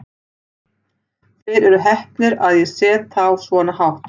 Þeir eru heppnir að ég set þá svona hátt.